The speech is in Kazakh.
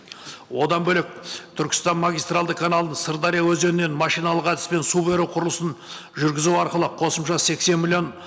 одан бөлек түркістан магистральды каналды сырдария өзенінен машиналық әдіспен су беру құрылысын жүргізу арқылы қосымша сексен миллион